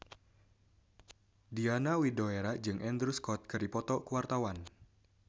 Diana Widoera jeung Andrew Scott keur dipoto ku wartawan